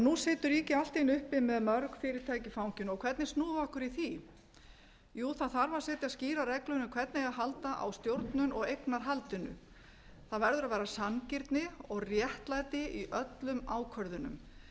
nú situr ríkið allt í einu uppi með mörg fyrirtæki í fanginu og hvernig snúum við okkur í því jú það þarf að setja skýrar reglur um hvernig eigi að halda á stjórnun og eignarhaldinu það verður að vera sanngirni og réttlæti í öllum ákvörðunum